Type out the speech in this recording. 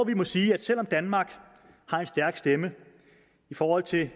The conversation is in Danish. vi må sige at selv om danmark har en stærk stemme i forhold til